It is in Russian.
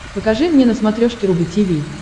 покажи мне на смотрешке рубль ти ви